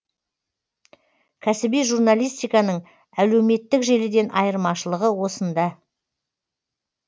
кәсіби журналистиканың әлеуметтік желіден айырмашылығы осында